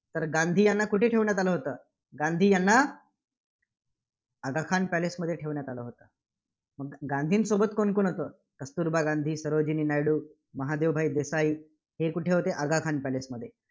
तर गांधी यांना कुठे ठेवण्यात आलं होतं? गांधी यांना आगा खान पॅलेसमध्ये ठेवण्यात आलं होतं. मग गांधींसोबत कोण होते? कस्तुरबा गांधी, सरोजिनी नायडू, महादेवभाई देसाई हे कुठे होते? आगाखान पॅलसेमध्ये.